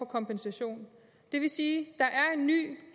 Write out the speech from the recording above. kompensation det vil sige